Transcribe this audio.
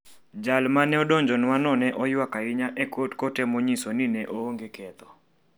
Jal ma ne odonjnwano ne oywak ahinya e kot kot kotemo nyiso ni ne oonge ketho.